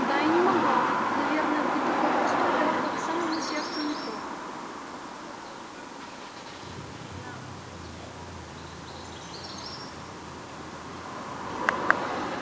да и не могла наверное быть такой простой дорога к самому сердцу метро